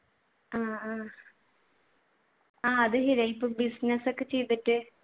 ആഹ് അഹ് അത് ശരിയാ ഇപ്പൊ business ഒക്കെ ചെയ്തിട്ട്